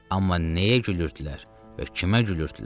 Amma nəyə gülürdülər və kimə gülürdülər?